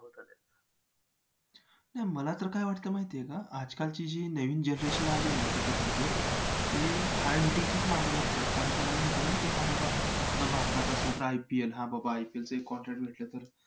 नाही मला तर काय वाटतं माहिती आहे का, आजकालची जी नवीन generation आली आहे ना cricket मध्ये ते hard hitting च्याच मागे लागतात कारण त्यांना माहिती आहे ना की हां बाबा समजा भारतात असेल तर IPL हां बाबा IPL च एक contract भेटलं तर